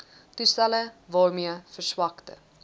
toestelle waarmee verswakte